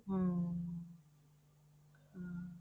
ਹਮ ਹਾਂ